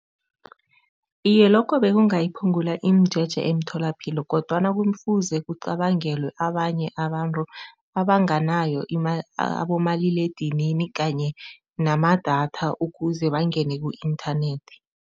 Iye, lokho bekungayiphungula imijeje emtholapilo kodwana kumfuze kucabangelwe abanye abantu abanganayo abomaliledinini kanye namadatha ukuze bangene ku-inthanethi.